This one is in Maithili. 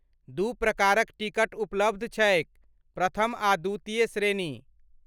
दू प्रकारक टिकट उपलब्ध छैक, प्रथम आ द्वितीय श्रेणी।